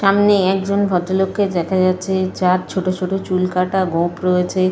সামনে একজন ভদ্রলোককে দেখা যাচ্ছে যার ছোট ছোট চুল কাটা গোঁফ রয়েছে।